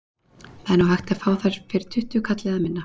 Það er nú hægt að fá þær fyrir tuttugu kall eða minna.